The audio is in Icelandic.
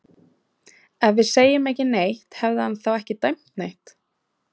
Ef við hefðum ekki sagt neitt, hefði hann þá ekki dæmt neitt?